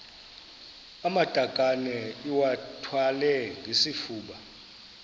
amatakane iwathwale ngesifuba